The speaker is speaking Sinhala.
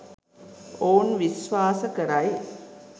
ඔවුන් විශ්වාස කරයි